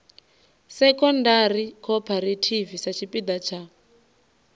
secondary cooperative sa tshipiḓa tsha